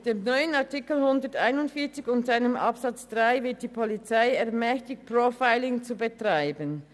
Mit dem neuen Artikel 141 und seinem Absatz 3 wird die Polizei ermächtigt, Profiling zu betreiben.